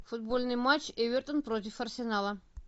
футбольный матч эвертон против арсенала